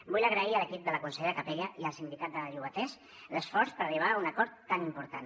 vull agrair a l’equip de la consellera capella i al sindicat de llogaters l’esforç per arribar a un acord tan important